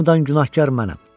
Hamıdan günahkar mənəm.